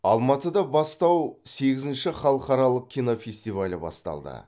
алматыда бастау сегізінші халықаралық кинофестивалі басталды